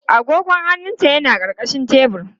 Agogon hannunta yana ƙarƙashin tebur.